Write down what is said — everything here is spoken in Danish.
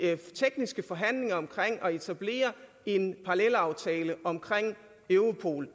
tekniske forhandlinger om at etablere en parallelaftale om europol